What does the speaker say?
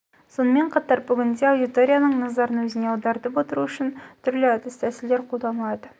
сонымен қатар бүгінде аудиторияның назарын өзіне аудартып отыру үшін түрлі әдіс-тәсілдер қолданылады